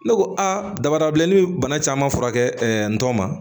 Ne ko a dabada bilenni bɛ bana caman furakɛ n tɔn ma